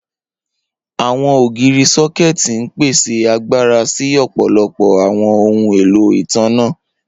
Awọn ogiri sọkẹti n pese agbara si ọpọlọpọ awọn ohun elo itanna.